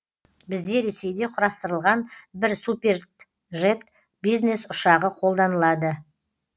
бізде ресейде құрастырылған бір суперджет бизнес ұшағы қолданылады